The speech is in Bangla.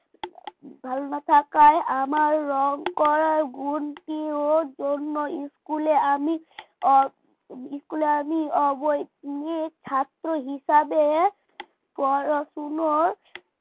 ভালো না থাকায় আমার রং করার গুণটির জন্য school আমি school আমি অবৈতনিক ছাত্র হিসাবে পড়াশোনা